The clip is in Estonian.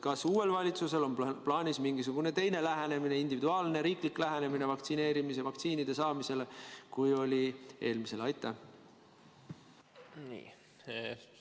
Kas uuel valitsusel on plaanis mingisugune teine lähenemine, meie endi riiklik lähenemine vaktsiinide saamisele, kui oli eelmisel valitsusel?